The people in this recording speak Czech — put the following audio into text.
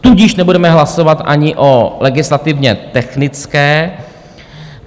Tudíž nebudeme hlasovat ani o legislativně technické.